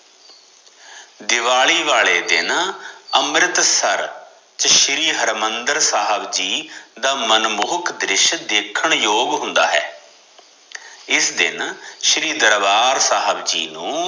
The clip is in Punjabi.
ਦਿਵਾਲੀ ਵਾਲੇ ਦਿਨ ਅਮ੍ਰਿਤਸਰ ਸ਼੍ਰੀ ਹਰਿਮੰਦਰ ਸਾਹਿਬ ਜੀ ਦਾ ਮਨਮੋਹਕ ਦ੍ਰਿਸ਼ ਦੇਖਣ ਯੋਗ ਹੁੰਦਾ ਹੈ ਇਸ ਦਿਨ ਸ਼੍ਰੀ ਦਰਬਾਰ ਸਾਹਿਬ ਜੀ ਨੂੰ